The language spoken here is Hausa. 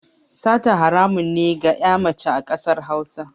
Sata haramun ne a ga ƴa mace ƙasar Hausa